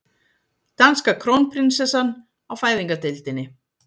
Danska krónprinsessan á fæðingardeildinni